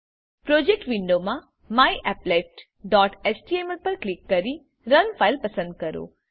project વિન્ડોમાં myapplet dot HTML પર click કરી રન ફાઇલ પસંદ કરો